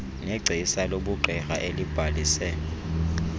negcisa lobugqirha elibhalise